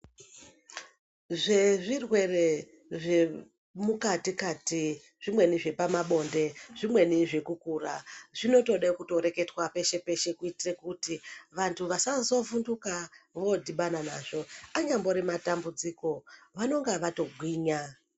Zvezvirwere zvemukati-kati zvimweni zvepabonde, zvimweni zvekukura zvinotodenkutoreketwa peshe-peshe kuti vantu vasazovhunduka vadhibana nazvo anyambori matambudziko vanonga vatogwinya.